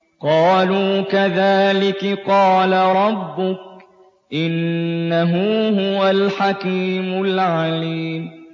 قَالُوا كَذَٰلِكِ قَالَ رَبُّكِ ۖ إِنَّهُ هُوَ الْحَكِيمُ الْعَلِيمُ